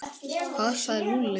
Hvað sagði Lúlli?